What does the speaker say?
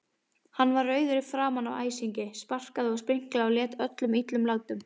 Hann var rauður í framan af æsingi, sparkaði og spriklaði og lét öllum illum látum.